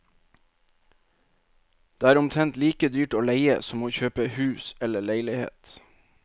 Det er omtrent like dyrt å leie som å kjøpe hus eller leilighet.